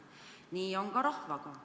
Nii on ka rahvaga.